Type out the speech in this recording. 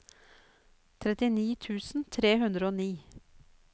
trettini tusen tre hundre og ni